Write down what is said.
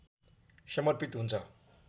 समर्पित हुन्छ